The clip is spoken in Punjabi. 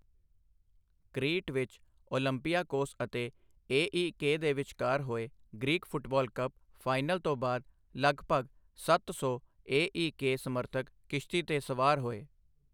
ਕ੍ਰੀਟ ਵਿੱਚ ਓਲੰਪਿਆਕੋਸ ਅਤੇ ਏ.ਈ.ਕੇ ਦੇ ਵਿੱਚਕਾਰ ਹੋਏ ਗ੍ਰੀਕ ਫੁੱਟਬਾਲ ਕੱਪ ਫਾਈਨਲ ਤੋਂ ਬਾਅਦ ਲਗਭਗ ਸੱਤ ਸੌ ਏ.ਈ.ਕੇ ਸਮਰਥਕ ਕਿਸ਼ਤੀ ਤੇ ਸਵਾਰ ਹੋਏ।